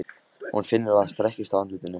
Hún finnur að það strekkist á andlitinu.